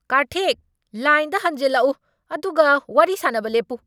ꯀꯥꯔꯊꯤꯛ! ꯂꯥꯏꯟꯗ ꯍꯟꯖꯤꯜꯂꯛꯎ ꯑꯗꯨꯒ ꯋꯥꯔꯤ ꯁꯥꯅꯕ ꯂꯦꯞꯄꯨ꯫